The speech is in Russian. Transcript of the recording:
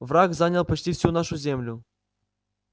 враг занял почти всю нашу землю